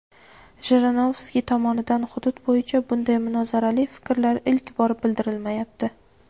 Jirinovskiy tomonidan hudud bo‘yicha bunday munozarali fikrlar ilk bor bildirilmayapti.